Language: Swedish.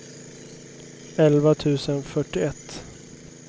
elva tusen fyrtioett